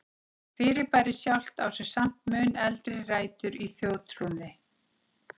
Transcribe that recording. Fyrirbærið sjálft á sér samt mun eldri rætur í þjóðtrúnni.